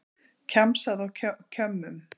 Kjamsað á kjömmum